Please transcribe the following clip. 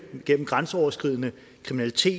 gennem grænseoverskridende kriminalitet